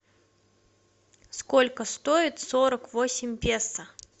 сколько стоит сорок восемь песо